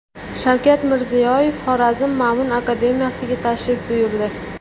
Shavkat Mirziyoyev Xorazm Ma’mun akademiyasiga tashrif buyurdi.